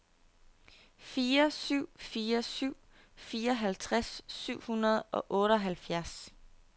fire syv fire syv fireoghalvtreds syv hundrede og otteoghalvfjerds